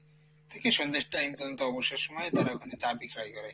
থেকে সন্ধের time পর্যন্ত অবসর সময়ে তারা ওখানে চা বিক্রয় করে।